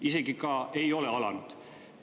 " Isegi ka, kui ei ole alanud!